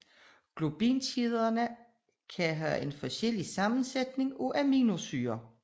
Globinkæderne kan have en forskellig sammensætning af aminosyrer